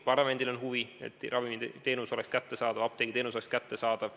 Parlamendil on huvi, et ravimiteenus oleks kättesaadav, apteegiteenus oleks kättesaadav.